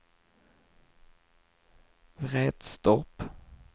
Vretstorp